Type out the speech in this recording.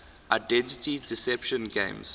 identity deception games